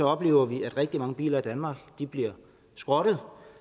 oplever vi at rigtig mange biler i danmark bliver skrottet